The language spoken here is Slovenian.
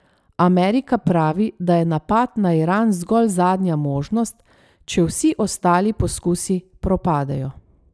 Amerika pravi, da je napad na Iran zgolj zadnja možnost, če vsi ostali poskusi propadejo.